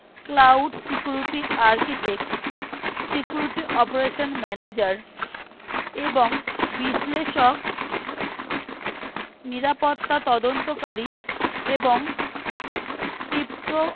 cloud security architect security operation manager এবং বিশ্লেষক নিরাপত্তা তদন্তকারী এবং crypto